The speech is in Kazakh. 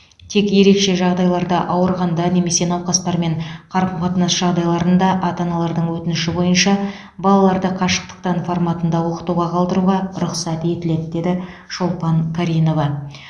тек ерекше жағдайларда ауырғанда немесе науқастармен қарым қатынас жағдайларында ата аналардың өтініші бойынша балаларды қашықтықтан форматында оқытуға қалдыруға рұқсат етіледі деді шолпан каринова